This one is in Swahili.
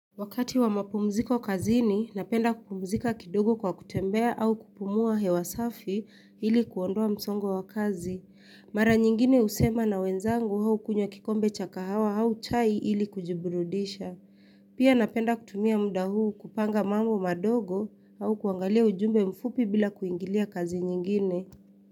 Wakati wa mapumziko kazi napenda kupumzika kidogo kwa kutembea au kupumua hewa safi ilikuondoa msongo wa kazi. Mara nyingine husema na wenzangu au hukunywa kikombe cha kahawa au chai ili kujiburudisha. Pia napenda kutumia muda huu kupanga mambo madogo au kuangalia ujumbe mfupi bila kuingilia kazi nyingine.